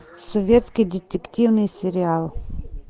советский детективный сериал